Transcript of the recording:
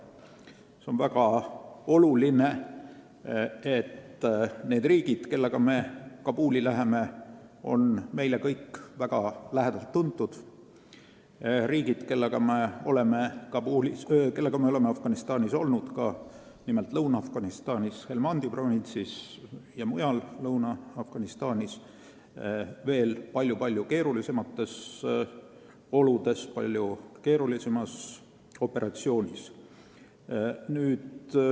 See on väga oluline, et need riigid, kellega me Kabuli läheme, on meile kõik väga lähedaselt tuntud riigid, kellega me oleme koos Afganistanis olnud, nimelt Lõuna-Afganistanis Helmandi provintsis ja mujal Lõuna-Afganistanis palju-palju keerulisemates oludes, keerulisemas operatsioonis.